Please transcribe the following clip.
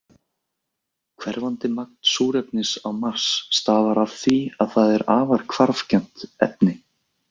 Hverfandi magn súrefnis á Mars stafar af því að það er afar hvarfgjarnt efni.